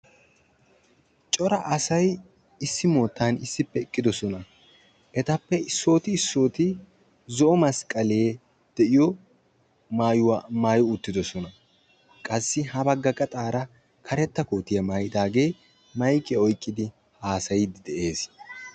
Cora asay issi moottan issippe eqqidosona. Etappe issooti issooti zo'o masqqale de'iyo mayuwa mayi uttidosona. Qassi ha bagga gaxaara karetta kootiya mayidaage mayikiya oyikkidi haasayiiddi de'es.